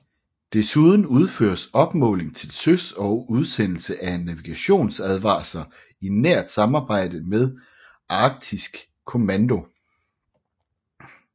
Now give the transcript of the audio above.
Desuden udføres opmåling til søs og udsendelse af navigationsadvarsler i nært samarbejde med Arktisk Kommando